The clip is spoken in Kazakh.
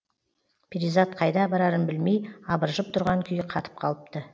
перизат қайда барарын білмей абыржып тұрған күйі қатып қалыпты